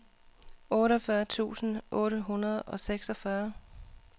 otteogfyrre tusind otte hundrede og seksogfyrre